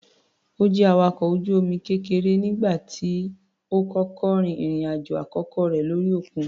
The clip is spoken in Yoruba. Ó jẹ́ awakọ̀ ojú omi kékeré nígbà tó kọ́kọ́ rin ìrìn-àjò àkọ́kọ́ rẹ̀ lórí òkun.